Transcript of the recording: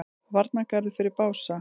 Varnargarður fyrir Bása